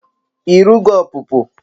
I rugo ọpụpụ?